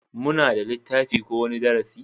Muna da littafin ko wani darasi